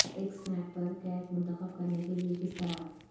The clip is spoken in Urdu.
ایک سنیپ پر کیٹ منتخب کرنے کے لئے کس طرح